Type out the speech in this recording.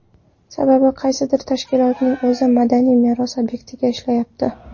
Sababi qaysidir tashkilotning o‘zi madaniy meros obyektida ishlayapti.